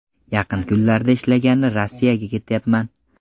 Yaqin kunlarda ishlagani Rossiyaga ketyapman.